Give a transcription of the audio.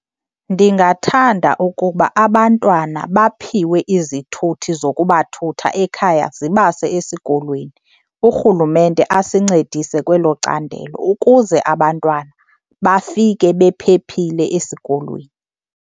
Ndingathanda ukuba abantwana baphiwe izithuthi zokubathutha ekhaya zibase esikolweni, urhulumente asincedise kwelo candelo ukuze abantwana bafike bephephile esikolweni.